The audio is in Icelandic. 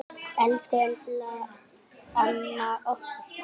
Elsku Imba amma okkar.